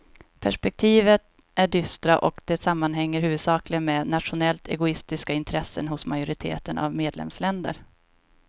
Perspektiven är dystra och det sammanhänger huvudsakligen med nationellt egoistiska intressen hos majoriteten av medlemsländer.